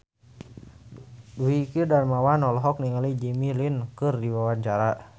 Dwiki Darmawan olohok ningali Jimmy Lin keur diwawancara